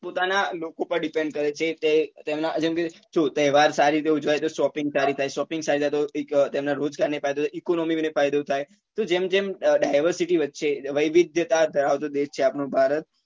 પોતાના લોકો પર depend કરે છે તે તેમના કેમ કે જોવો તહેવાર સારી રીતે ઉજવાય તો shopping સારી થાય shopping સારી થાય તો એક તેમના રોજગાર ને ફાયદો થાય economy ને ફાયદો થાય તો જેમ જેમ diversity વધશે વૈવિધતા ધરાવતો દેશ છે આપનો ભારત